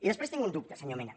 i després tinc un dubte senyor mena